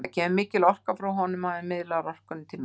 Það kemur mikil orka frá honum og hann miðlar orkunni til mín.